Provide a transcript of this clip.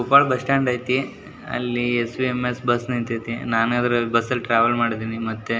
Koppal bus stand ಅಯ್ತ್ನಿ ಅಲ್ಲಿ S U M S bus ನಿಂತೈತಿ ನಾನು ಇದ್ರಲ್ಲಿ ಟ್ರಾವೆಲ್ ಮಾಡಿದ್ದೀನಿ ಮತ್ತೆ --